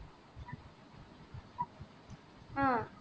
ஆஹ்